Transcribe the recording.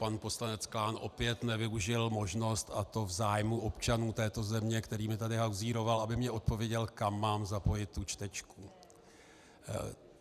Pan poslanec Klán opět nevyužil možnost, a to v zájmu občanů této země, kterými tady hauzíroval, aby mi odpověděl, kam mám zapojit tu čtečku.